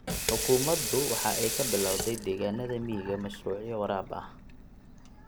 Xukuumadu waxa ay ka bilawday deegaanada miyiga mashruucyo waraab ah.